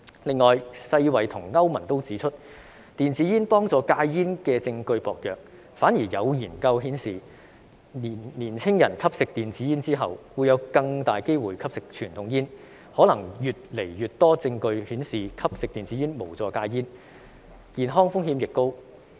此外，世界衞生組織和歐洲聯盟均指出，電子煙幫助戒煙的證據薄弱，反而有研究顯示，年輕人吸食電子煙後會有更大機會吸食傳統煙，可能會有越來越多證據顯示吸食電子煙無助戒煙，健康風險亦高。